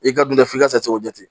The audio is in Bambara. I ka dun tɛ f'i ka se k'o jate